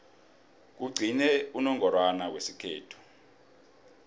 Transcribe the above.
kugcine unongorwana wesikhethu